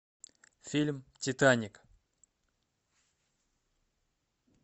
фильм титаник